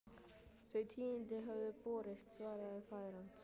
Þau tíðindi höfðu borist, svaraði faðir hans.